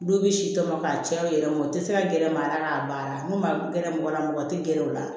Du bɛ si tɔmɔ k'a cɛ yɛrɛ mɔn u tɛ se ka gɛrɛ maa la k'a baara n'u ma gɛrɛ mɔgɔ la mɔgɔ tɛ gɛrɛ u la